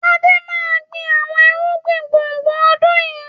Adé máa gbin àwọn irúgbìn gbùngbùn ọdún yìí.